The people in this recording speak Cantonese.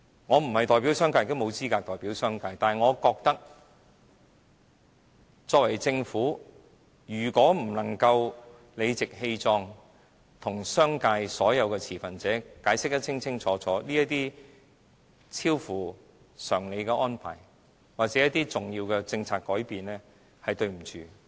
我並非代表商界，也沒有資格代表商界，但我認為，作為政府，如果不能夠理直氣壯，向商界所有的持份者清楚解釋這些超乎常理的安排或重要的政策改變，是對不起他們。